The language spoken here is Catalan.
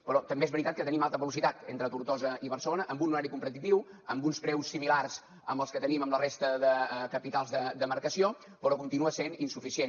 però també és veritat que tenim alta velocitat entre tortosa i barcelona amb un horari competitiu amb uns preus similars als que tenim amb la resta de capitals de demarcació però continua sent insuficient